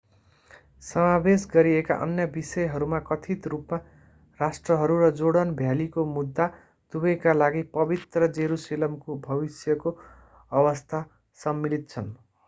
समावेश गरिएका अन्य विषयहरूमा कथित रूपमा राष्ट्रहरू र जोर्डन भ्यालीको मुद्दा दुबैका लागि पवित्र जेरुसलेमको भविष्यको अवस्था सम्मिलित छन्